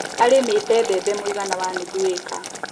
Arĩmĩte mbembe mũigana wa nuthu ĩka